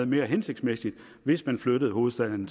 mere hensigtsmæssigt hvis man flyttede hovedstaden